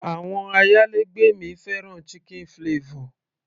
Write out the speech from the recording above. àwọn ayálégbé mi fẹ́ràn chicken flavor